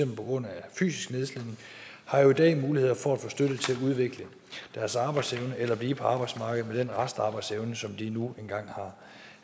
på grund af fysisk nedslidning har jo i dag muligheder for at få støtte til at udvikle deres arbejdsevne eller blive på arbejdsmarkedet med den restarbejdsevne som de nu engang